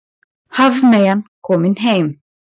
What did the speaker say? Hafmeyjan komin heim